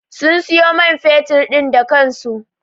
Sun siyo man fetur din da kansu.